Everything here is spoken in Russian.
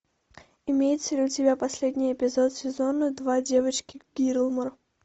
имеется ли у тебя последний эпизод сезона два девочки гилмор